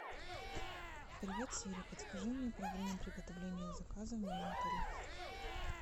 привет сири подскажи мне про время приготовления заказа в моем отеле